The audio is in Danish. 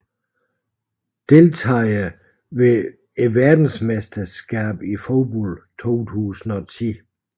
Deltagere ved verdensmesterskabet i fodbold 2010